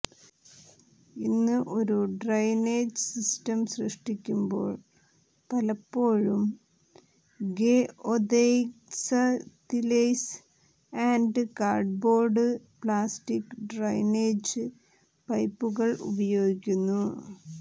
ഇന്ന് ഒരു drainage system സൃഷ്ടിക്കുമ്പോൾ പലപ്പോഴും geotextiles and cardboard plastic drainage പൈപ്പുകൾ ഉപയോഗിക്കുന്നു